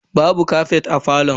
Babu kafet a falon.